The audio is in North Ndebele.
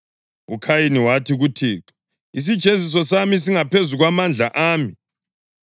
UKhayini wathi kuThixo, “Isijeziso sami singaphezu kwamandla ami.